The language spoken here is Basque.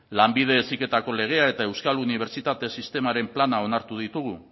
lanbide heziketako legea eta euskal unibertsitate sistemaren plana onartu ditugu